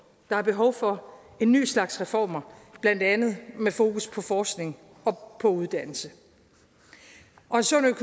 der er behov for en ny slags reformer blandt andet med fokus på forskning og på uddannelse